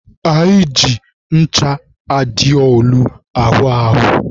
Anyị na-eji ncha aịdolu awụ ahụ.